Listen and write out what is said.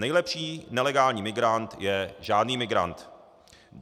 Nejlepší nelegální migrant je žádný migrant.